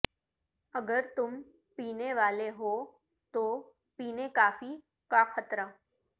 اگر تم پینے والے ہو تو پینے کافی کا خطرہ